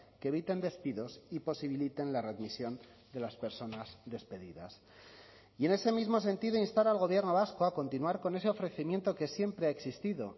que eviten despidos y posibiliten la readmisión de las personas despedidas y en ese mismo sentido instar al gobierno vasco a continuar con ese ofrecimiento que siempre ha existido